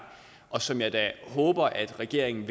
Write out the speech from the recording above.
og som jeg da håber at regeringen